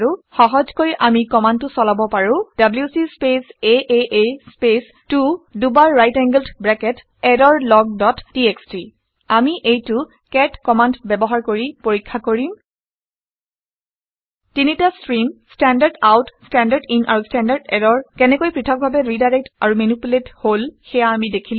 সহজকৈ আমি কামাণ্ডটো চলাৰ পাবোঁ - ডব্লিউচি স্পেচ আঁ স্পেচ 2 দুবাৰright angled bracket error log dot TXT আমি এইটো কেট কেট কামাণ্ড ব্যৱহাৰ কৰি চেক পৰীক্ষা কৰিম। তিনিটা stream - standard out standard in আৰু ষ্টেণ্ডাৰ্ড এৰৰ কেনেকৈ পৃথকভাবে ৰিডাইৰেকটেড আৰু মেনিপুলেটেড হল সেয়া আমি দেখিলো